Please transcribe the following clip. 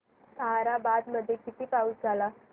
ताहराबाद मध्ये किती पाऊस झाला